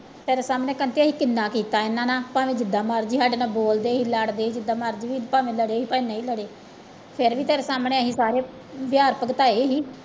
ਤੇਰੇ ਸਾਹਮਣੇ ਅਸੀਂ ਕਿੰਨਾ ਕੀਤਾ ਇਹਨਾਂ ਦਾ ਭਾਵੇਂ ਜਿੱਦਾਂ ਮਰਜ਼ੀ ਸਾਡੇ ਨਾਲ ਬੋਲਦੇ ਸੀ ਲੜਦੇ ਸੀ ਜਿੱਦਾਂ ਮਰਜ਼ੀ ਸੀ ਭਾਵੇਂ ਲੜੇ ਸੀ ਭਾਵੇਂ ਨਹੀਂ ਲੜੇ, ਫਿਰ ਵੀ ਤੇਰੇ ਸਾਹਮਣੇ ਅਸੀਂ ਸਾਰੇ ਵਿਹਾਰ ਤਾਂ